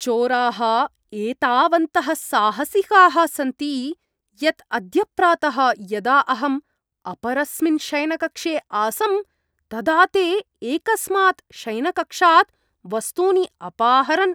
चोराः एतावन्तः साहसिकाः सन्ति यत् अद्य प्रातः यदा अहम् अपरस्मिन् शयनकक्षे आसं तदा ते एकस्मात् शयनकक्षात् वस्तूनि अपाहरन्।